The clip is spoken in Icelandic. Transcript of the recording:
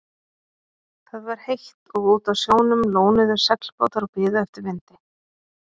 Það var heitt og úti á sjónum lónuðu seglbátar og biðu eftir vindi.